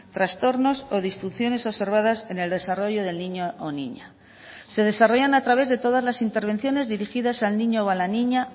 trastornos o disfunciones observadas en el desarrollo del niño o niña se desarrollan a través de todas las intervenciones dirigidas al niño o a la niña